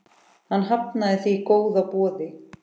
Hann hafnaði því góða boði.